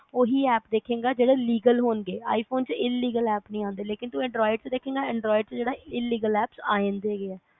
ਉਹੀ app ਦੇਖੇਗਾ ਜਿਹੜੇ legal ਹੋਣਗੇ i phone ਚ inleggal apps ਨਹੀਂ ਆਂਦੇ ਤੂੰ anroid ਚ ਦੇਖੇਗਾ anroid ਜਿਹੜੇ inlegal apps ਆ ਜਾਂਦੇ